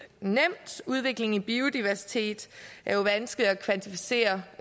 nemt udviklingen i biodiversitet er jo vanskelig at kvantificere